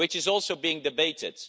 This is also being debated.